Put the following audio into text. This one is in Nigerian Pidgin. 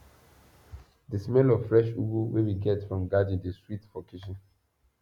the smell of fresh ugu wey we get from garden dey sweet for kitchen